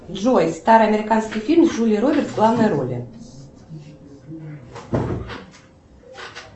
джой старый американский фильм с джулией робертс в главной роли